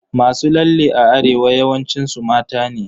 Masu lalle a Arewa yawancin su mata ne.